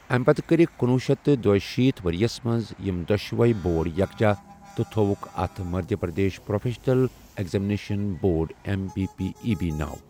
اَمہِ پتہٕ کٔرِکھ کنۄہُ شیتھ دُشیٖتھ ؤرۍ یَس منٛز یِمۍ دۄشوٕے بورڈ یکجا تہٕ تھوٚوُکھ اَتھ Madhya Pradesh professional examination board M P P E B ناو